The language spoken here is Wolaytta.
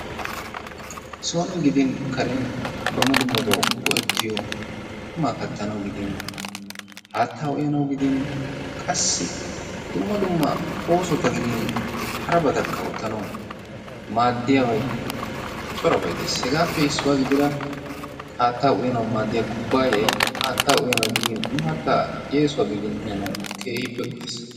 son gidin karen dumma dummabawu go'ettiyo qumaa kattanawu gidin haattaa uyanawu gidin qassi dumma dumma oosota gidin harabatakka oottanawu maaddiyaabay corabay dees. Hegaappe issuwa gidira haatta uyanawu maaddiya kubbaayay haattaa uyanawu gidin maattaa yeesuwaa uyanawu keehippe go'ees.